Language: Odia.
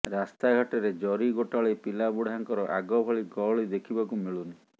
ରାସ୍ତା ଘାଟରେ ଜରି ଗୋଟାଳୀ ପିଲା ବୃଢାଙ୍କର ଆଗ ଭଳି ଗହଳି ଦେଖିବାକୁ ମିଳୁନି